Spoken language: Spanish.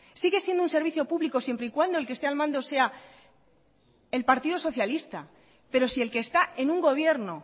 sigue siendo un servicio público siempre y cuando el que esté al mando sea el partido socialista pero si el que está en un gobierno